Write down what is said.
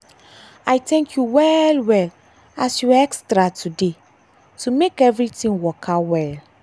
i thank you well well as you extra today to make everything waka well.